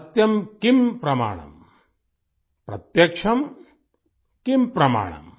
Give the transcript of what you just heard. सत्यम किम प्रमाणम प्रत्यक्षम किम प्रमाणम